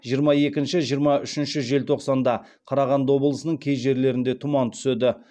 жиырма екінші жиырма үшінші желтоқсанда қарағанды облысының кей жерлерінде тұман түседі